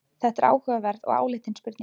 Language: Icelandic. Þetta er áhugaverð og áleitin spurning.